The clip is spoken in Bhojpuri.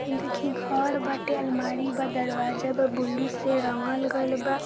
इ देखी घर बा अलमारी बा दरवाजा ब्लू से रंगल गइल बा।